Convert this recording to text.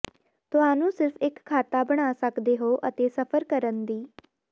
ਤੁਹਾਨੂੰ ਸਿਰਫ਼ ਇੱਕ ਖਾਤਾ ਬਣਾ ਸਕਦੇ ਹੋ ਅਤੇ ਸਫ਼ਰ ਕਰਨ ਦੀ